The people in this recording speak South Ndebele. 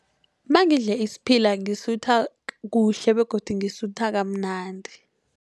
Nangidle isiphila ngisutha kuhle begodu ngisutha kamnandi.